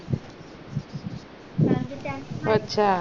अच्छा अच्छा